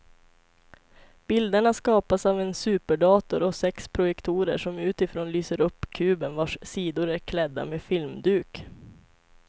Bilderna skapas av en superdator och sex projektorer som utifrån lyser upp kuben vars sidor är klädda med filmduk.